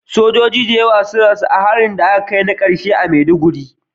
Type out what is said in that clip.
Sojoji da yawa sun rasu a harin na karshe da aka kai a Maiduguri